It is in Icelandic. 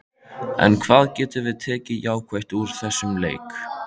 En hvað getum við tekið jákvætt úr þessum leik?